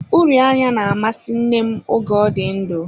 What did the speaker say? Uri anya na-amasị nne m oge ọ dị ndụ.